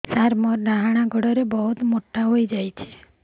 ସାର ମୋର ଡାହାଣ ଗୋଡୋ ବହୁତ ମୋଟା ହେଇଯାଇଛି